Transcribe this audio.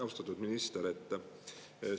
Austatud minister!